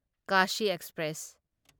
Kashi express